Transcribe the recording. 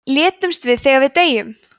létumst við þegar við deyjum